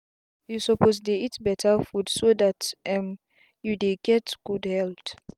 you suppose dey eat better food so that um you dey get good health